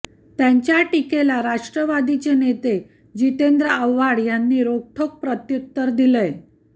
त्यांच्या टीकेला राष्ट्रवादीचे नेते जितेंद्र आव्हाड यांनी रोखठोक प्रत्युत्तर दिलंय